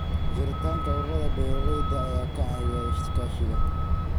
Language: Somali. Jiritaanka ururada beeralayda ayaa ka caawiya iskaashiga.